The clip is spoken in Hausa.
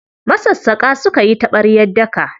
Masassaƙa suka yi taɓaryar daka.